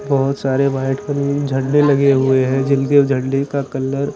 बहोत सारे white colour में झंडे लगे हुए है जिनके झंडे का कलर --